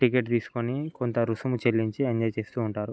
Ticket తీసుకోని కొంత రుసుము చెల్లించి ఎంజోయ్ చేస్తూ ఉంటారు.